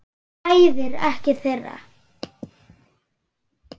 Það bræðir ekkert þeirra.